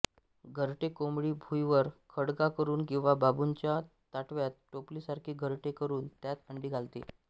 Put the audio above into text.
घरटे कोंबडी भुईवर खळगा करून किंवा बांबूच्या ताटव्यात टोपली सारखे घरटे करून त्यात अंडी घालते